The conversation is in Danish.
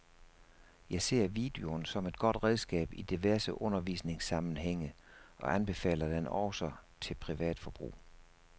Jeg ser videoen som et godt redskab i diverse undervisningssammenhænge, og anbefaler den også til privatbrug.